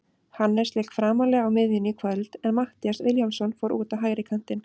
Hannes lék framarlega á miðjunni í kvöld en Matthías Vilhjálmsson fór út á hægri kantinn.